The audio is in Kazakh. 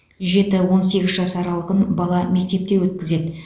жеті он сегіз жас аралығын бала мектепте өткізеді